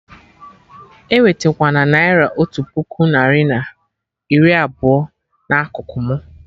Ewetekwana naira otu puku narị na iri abụọ na akụkụ mụ!